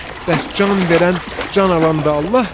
Bəs can verən, can alan da Allahdırmı?